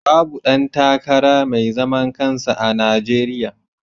Babu ɗan takara mai zaman kansa a Najeriya.